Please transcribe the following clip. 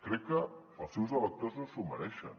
crec que els seus electors no s’ho mereixen